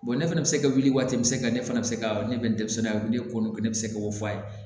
ne fana bɛ se ka wuli waati min se ka ne fana bɛ se ka ne bɛ denmisɛnninya ne ko n ko ne bɛ se k'o fɔ a ye